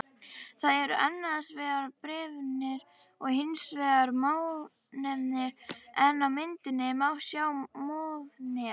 Það eru annars vegar breiðnefir og hins vegar mjónefir en á myndinni má sjá mjónef.